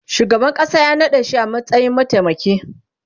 shugaban ƙasa ya naɗashi a matsayin mataimaki